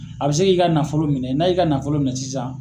A bɛ se k'i ka nafolo minɛ n'a y'i ka nafolo minɛ sisan